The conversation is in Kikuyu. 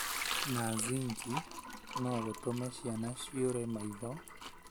na zinki no gũtũme ciana ciũre maitho,